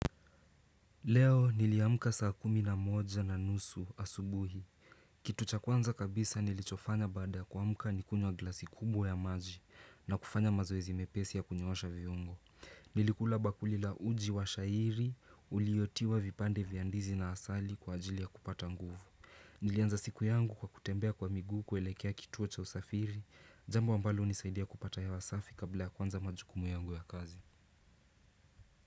Leo niliamka saa kumi na moja na nusu asubuhi. Kitu cha kwanza kabisa nilichofanya baada kuamka ni kunywa glasi kubwa ya maji na kufanya mazoezi mepesi ya kunyoosha viungo. Nilikula bakuli la uji wa shayiri uliyotiwa vipande vya ndizi na asali kwa ajili ya kupata nguvu. Nilianza siku yangu kwa kutembea kwa miguu kuelekea kituo cha usafiri. Jambo ambalo hunisaidia kupata hewa safi kabla ya kuanza majukumu yangu ya kazi.